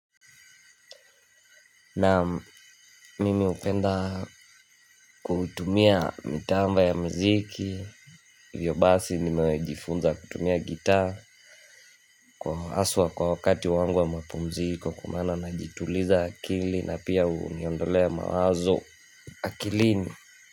Naam, mimi hupenda kutumia mitambo ya miziki, hivyo basi nimejifunza kutumia gitaa. Haswa kwa wakati wangu wa mapumziko kwa maana najituliza akili na pia huniondolea mawazo akilini.